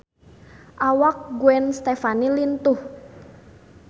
Awak Gwen Stefani lintuh